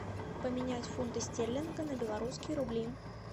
поменять фунты стерлинга на белорусские рубли